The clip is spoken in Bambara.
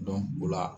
o la